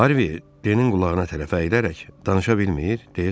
Harvi, Denin qulağına tərəf əyirərək, danışa bilmir?